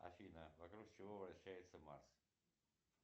афина вокруг чего вращается марс